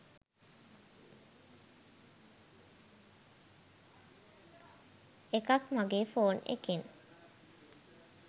එකක් මගේ ෆෝන් එකෙන්